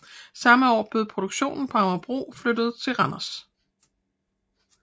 Samme år blev produktionen på Amagerbro flyttet til Randers